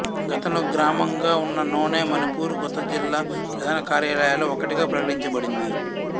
గతంలో గ్రామంగా ఉన్న నోనె మణిపూర్ కొత్త జిల్లా ప్రధాన కార్యాలయాలలో ఒకటిగా ప్రకటించబడింది